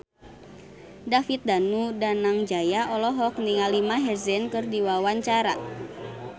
David Danu Danangjaya olohok ningali Maher Zein keur diwawancara